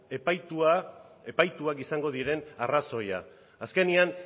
epaituak izango diren arrazoia azkenean